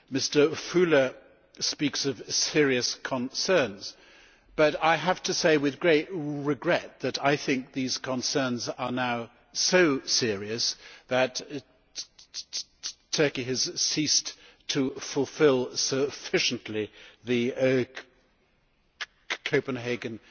Mr Füle speaks of serious concerns, but I have to say with great regret that I think these concerns are now so serious that Turkey has ceased to fulfil sufficiently the Copenhagen